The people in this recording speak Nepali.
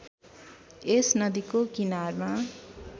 यस नदीको किनारमा